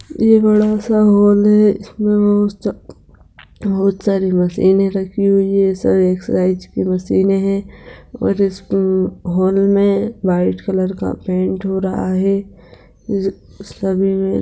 यह बड़ा-सा हॉल है| इसमें बहुत-सा बहुत सारी मशीनें रखी हुई है| यह सारी एक्सर्साइज़ की मशीनें है और इस हॉल में व्हाइट कलर का पेंट हो रहा है --